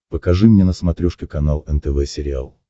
покажи мне на смотрешке канал нтв сериал